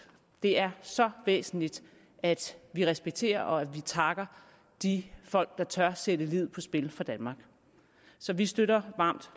det er så væsentligt at vi respekterer og at vi takker de folk der tør sætte livet på spil for danmark så vi støtter